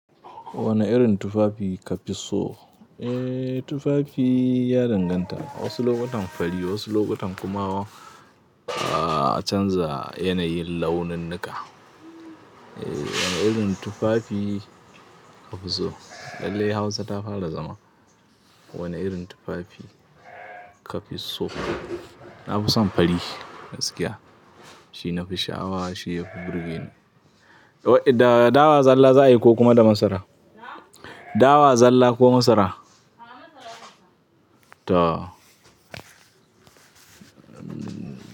Wane irin tufafi ka fi so? Eh, tufafi ya danganta. Wasu lokutan fari wasu lokutan kuma a canza yanayin launin nika. Wane irin tufafi ka fi so? Lallai Hausa ta fara zama. Wane irin tufafi ka fi so? Na fi son fari gaskiya. Shi nafi sha'awa, shi yafi burgeni. Da dawa, zalla za a yi ko kuma da masara? Dawa zalla ko masara? Toh um.